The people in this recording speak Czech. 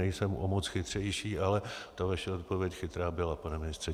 Nejsem o moc chytřejší, ale ta vaše odpověď chytrá byla, pane ministře.